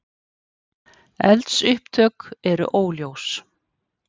Eldsupptök eru óljós